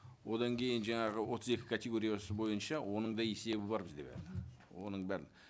одан кейін жаңағы отыз екі категориясы бойынша оның да есебі бар бізде барлығы оның бәрін